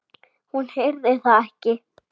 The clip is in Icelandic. Hún heyrði það ekki.